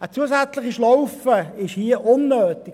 Eine zusätzliche Schlaufe ist hier unnötig.